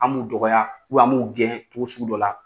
An b'u dɔgɔya u bɛ an b'u gɛn cogosugula